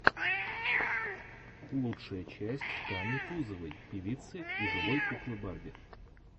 лучшая часть тани тузовой певицы и живой куклы барби